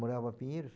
Morava em Pinheiros